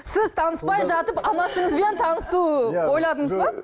сіз таныспай жатып анашыңызбен танысу ойладыңыз ба